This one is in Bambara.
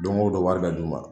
Don ko don wari bɛ d'u ma